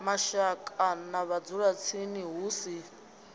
mashaka na vhadzulatsini hu si